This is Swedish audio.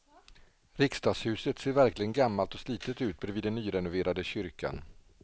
Riksdagshuset ser verkligen gammalt och slitet ut bredvid den nyrenoverade kyrkan.